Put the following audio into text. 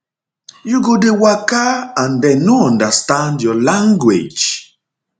you go dey waka and dem no understand your language